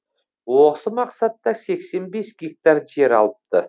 осы мақсатта сексен бес гектар жер алыпты